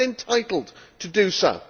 It is entitled to do so.